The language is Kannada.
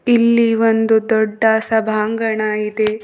ಇಲ್ಲಿ ಒಂದು ದೊಡ್ಡ ಸಭಾಂಗಣ ಇದೆ.